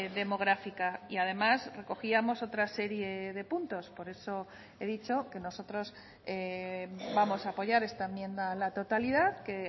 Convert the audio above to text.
demográfica y además recogíamos otra serie de puntos por eso he dicho que nosotros vamos a apoyar esta enmienda a la totalidad que